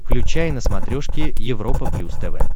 включай на смотрешке европа плюс тв